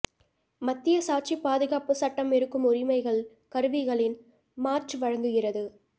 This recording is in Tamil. மத்திய சாட்சி பாதுகாப்புச் சட்டம் இருக்கும் உரிமைகள் கருவிகளின் மாற்று வழங்குகிறது